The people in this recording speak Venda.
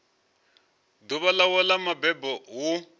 ḓuvha ḽawe ḽa mabebo hu